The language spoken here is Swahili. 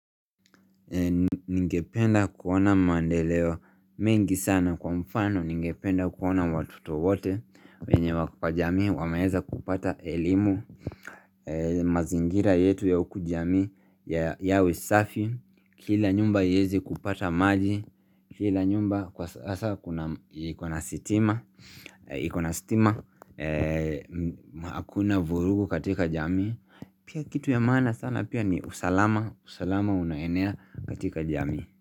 Ningependa kuona mandeleo mengi sana kwa mfano ningependa kuona watoto wote wenye wako kwa jamii wameeza kupata elimu mazingira yetu ya uku jamii ya safi kila nyumba ieze kupata maji kila nyumba kwa sasa ikona sitima iko na sitima Hakuna vurugu katika jamii Pia kitu ya maana sana pia ni usalama usalama unaenea katika jamii.